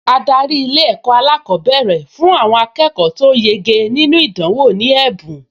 Adarí Ilé-ẹ̀kọ́ alákọ̀ọ́bẹ̀rẹ̀ fún àwọn akẹ́kọ̀ọ tó yege nínú ìdánwò ní ẹ̀bùn